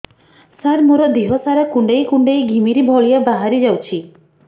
ସାର ମୋର ଦିହ ସାରା କୁଣ୍ଡେଇ କୁଣ୍ଡେଇ ଘିମିରି ଭଳିଆ ବାହାରି ଯାଉଛି